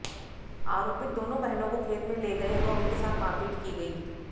आरोपित दोनों बहनों को खेत में ले गए और उनके साथ मारपीट की गई